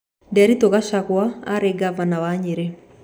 Nderitu Gachagua aarĩ ngavana wa Nyĩrĩ